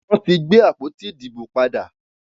Wọ́n ti gbé àpótí ìdìbò padè.